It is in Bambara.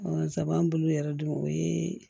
Saba an bolo yɛrɛ dun o ye